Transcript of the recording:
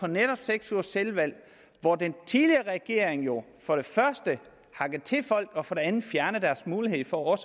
netop seks ugers selvvalg hvor den tidligere regering jo for det første hakkede til folk og for det andet fjernede deres mulighed for